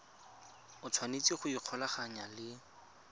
o tshwanetse go ikgolaganya le